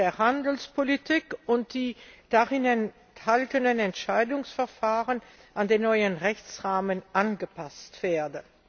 der Handelspolitik und die darin enthaltenen Entscheidungsverfahren an den neuen Rechtsrahmen angepasst werden.